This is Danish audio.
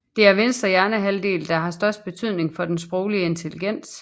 Det er venstre hjernehalvdel der har størst betydning for den sproglige intelligens